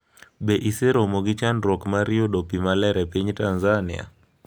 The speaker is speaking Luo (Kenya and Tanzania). Be iseromo gi chandruok mar yudo pi maler e piny Tanzania?